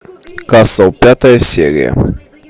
касл пятая серия